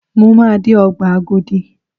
Mo máa dé Ọgbà Agodi.